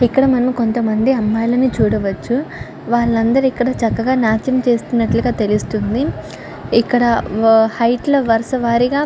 ఇక్కడ మనం కొంత మంది అమ్మాయిలని చూడవచ్చు. వలందరు ఇక్కడ చక్కగా నాట్యం చేస్తున్నట్లుగా తెలుస్తుంది. ఇక్కడ హేఇఘ్ట్ల వరుస వారీగా--